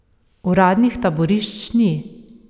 Uradnih taborišč ni.